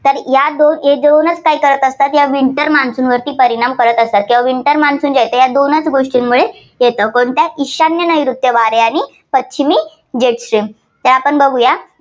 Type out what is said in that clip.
तर या दोनच काय करत असतात या winter monsoon वरती परिणाम करत असतात. तेव्हा winter monsoon जे ते आहे, ते दोनच गोष्टींमुळे येतं. कोणतं ईशान्य नैऋत्य वारे आणि पश्चिमी तर आपण बघुया